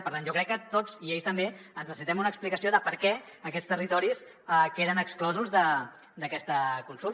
per tant jo crec que tots i ells també necessitem una explicació de per què aquests territoris queden exclosos d’aquesta consulta